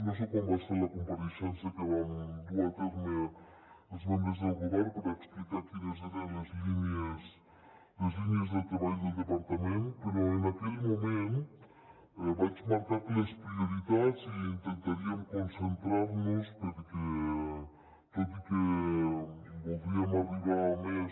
no sé quan va ser la compareixença que vam dur a terme els membres del govern per explicar quines eren les línies de treball del departament però en aquell moment vaig marcar que les prioritats i que intentaríem concentrar nos hi perquè tot i que voldríem arribar a més